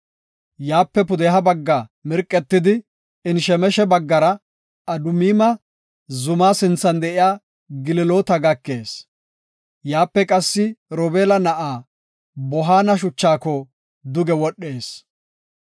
Yaape pudeha bagga mirqetidi Enshemeshe baggara Adumima zuma sinthan de7iya Geliloota gakees. Yaape qassi Robeela na7aa Bohaana shuchaako duge wodhees.